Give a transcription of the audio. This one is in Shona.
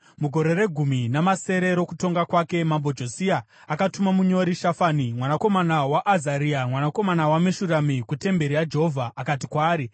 Mugore regumi namasere rokutonga kwake, Mambo Josia akatuma munyori, Shafani mwanakomana waAzaria, mwanakomana waMeshurami, kutemberi yaJehovha. Akati kwaari,